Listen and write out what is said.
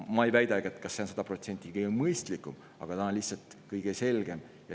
Ma ei väidagi, et see on sada protsenti kõige mõistlikum, aga see on lihtsalt kõige selgem.